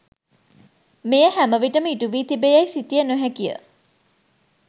මෙය හැම විටම ඉටුවී තිබේ යැයි සිතිය නොහැකිය.